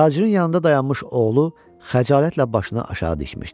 Tacirin yanında dayanmış oğlu xəcalətlə başını aşağı dikmişdi.